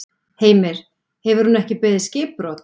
Heimir: Hún hefur ekki beðið skipbrot?